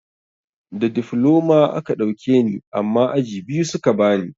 Da difloma a ka ɗauke ni amma aji biyu suka bani.